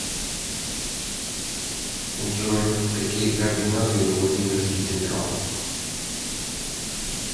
джой какие координаты у владимирский централ